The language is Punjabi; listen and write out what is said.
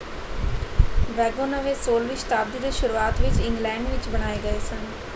ਵੈਗੋਨਵੇ 16ਵੀਂ ਸ਼ਤਾਬਦੀ ਦੇ ਸ਼ੁਰੂਆਤ ਵਿੱਚ ਇੰਗਲੈਂਡ ਵਿੱਚ ਬਣਾਏ ਗਏ ਸਨ।